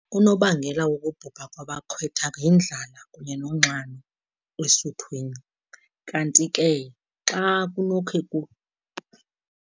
Unobangela wokubhubha kwabakhwetha yindlala kunye nonxano esuthwini, kanti ke xa kunokhe .